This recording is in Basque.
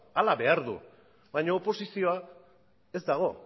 hala behar du baina oposizioa ez dago